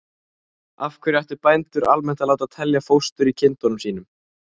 Af hverju ættu bændur almennt að láta telja fóstur í kindunum sínum?